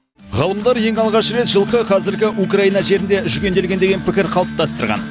ғалымдар ең алғаш рет жылқы қазіргі украина жерінде жүгенделген деген пікір қалыптастырған